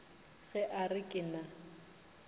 ge a re ke na